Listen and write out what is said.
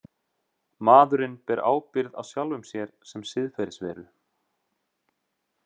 Maðurinn ber ábyrgð á sjálfum sér sem siðferðisveru.